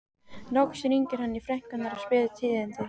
Loks hringir hann í frænku hennar og spyr tíðinda.